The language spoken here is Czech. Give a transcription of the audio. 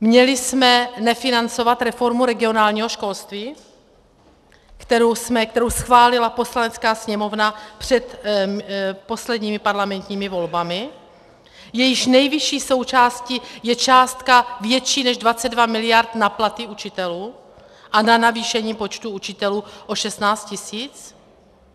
Měli jsme nefinancovat reformu regionálního školství, kterou schválila Poslanecká sněmovna před posledními parlamentními volbami, jejíž nejvyšší součástí je částka větší než 22 mld. na platy učitelů a na navýšení počtu učitelů o 16 tisíc?